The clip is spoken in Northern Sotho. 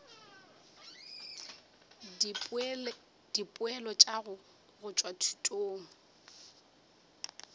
dipoelo tša go tšwa thutong